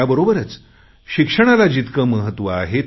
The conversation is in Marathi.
त्याबरोबरच शिक्षणाला जितके महत्त्व आहे